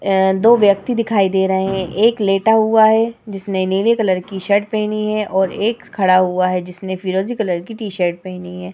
अ दो व्यक्ति दिखाई दे रहे हैं। एक लेटा हुआ है जिसने नीले कलर की शर्ट पहनी है और एक खड़ा हुआ है जिसने फिरोजी कलर की टी शर्ट पहनी है।